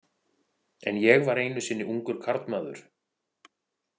En ég var einu sinni ungur karlmaður.